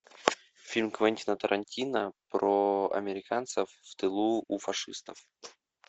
фильм квентина тарантино про американцев в тылу у фашистов